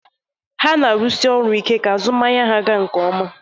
Ha na arusi oru ike ka azụmahịa ga nke ọma